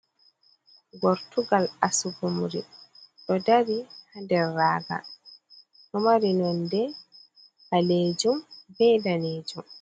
Gortugal asugumri ɗo dari ha nder raga ɗo mari nonde ɓalejum be danejum.